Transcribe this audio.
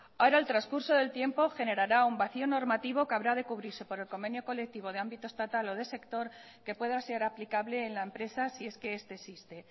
ahora el transcurso del tiempo generará un vacío normativa que habrá de cubrirse por el convenio colectivo de ámbito estatal o de sector que pueda ser aplicable en la empresa si es que este existe